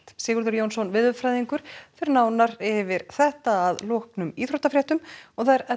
Sigurður Jónsson veðurfræðingur fer nánar yfir þetta að loknum íþróttafréttum og það er Edda